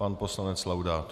Pan poslanec Laudát.